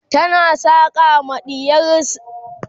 tana saƙa ma ɗiyarta rigar sanyi